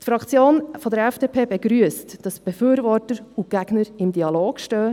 Die Fraktion FDP begrüsst, dass Befürworter und Gegner im Dialog stehen.